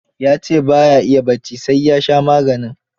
Ya ce ba ya iya bacci sai ua sha maganin.